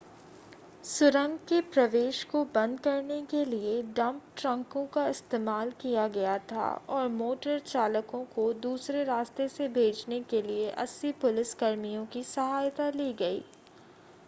सुरंग के प्रवेश को बंद करने के लिए डंप ट्रकों का इस्तेमाल किया गया था और मोटर चालकों को दूसरे रास्ते से भेजने के लिए 80 पुलिस कर्मियों की सहायता ली गई